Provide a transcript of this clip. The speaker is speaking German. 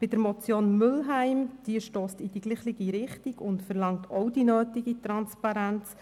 Die Motion Mühlheim stösst in dieselbe Richtung und verlangt auch die nötige Transparenz.